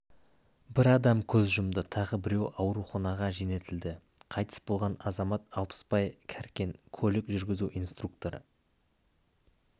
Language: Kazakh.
бір адам көз жұмды тағы біреуі ауруханаға жөнелтілді қайтыс болған азамат алпысбай кәркен көлік жүргізу инструкторы